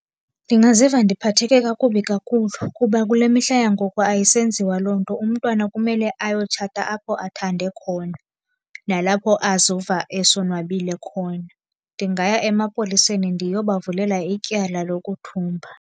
Ndingaziva ndiphatheke kakubi kakhulu, kuba kule mihla yangoku ayisenziwa loo nto. Umntwana kumele ayotshata apho athande khona, nalapho azova esonwabile khona. Ndingaya emapoliseni ndiyobavulela ityala lokuthumba.